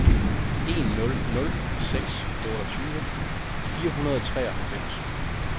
en nul nul seks otteogtyve fire hundrede og treoghalvfems